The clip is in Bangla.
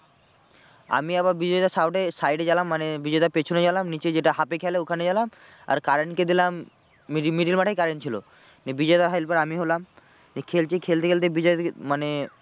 আমি আবার বিজয় দা সামনে side এ গেলাম মানে বিজয় দার পেছনে গেলাম নীচে যেটা half খেলে ওখানে গেলাম আর কারেন্ট কে দিলাম মি middle মাঠেই কারেন্ট ছিল। নিয়ে বজায় দার helper আমি হলাম। নিয়ে খেলছি খেলতে খেলতে বিজয় দাকে মানে